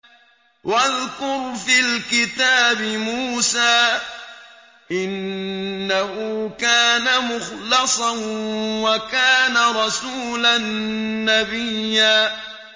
وَاذْكُرْ فِي الْكِتَابِ مُوسَىٰ ۚ إِنَّهُ كَانَ مُخْلَصًا وَكَانَ رَسُولًا نَّبِيًّا